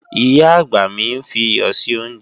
Ìyá-àgbà mi ń fi iyọ̀ sí oúnjẹ